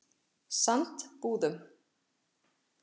Sandbúðum